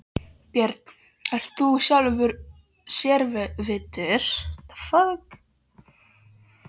Björn: Ert þú sjálfur sérvitur?